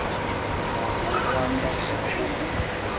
moya wa ka ga o